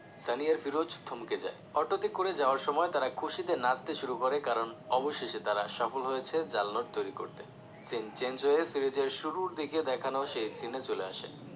সানি আর ফিরোজ থমকে যায় অটোতে করে যাওয়ার সময় তারা খুশিতে নাচতে শুরু করে কারণ অবশেষে তারা সফল হয়েছে জাল নোট তৈরি করতে scene change হয়ে ফিরোজের শুরুর দিকে দেখানো সেই scene এ চলে আসে